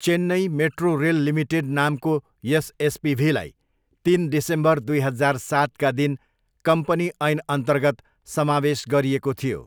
Chennai metro rail limited' नामको यस एसपिभीलाई तिन डिसेम्बर दुई हजार सातका दिन कम्पनी ऐनअन्तर्गत समावेश गरिएको थियो।